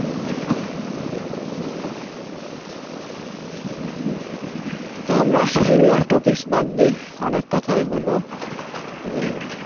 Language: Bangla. তো আমরা এইগুলা topic বাদ দিই অনেক কথাই হইলো হম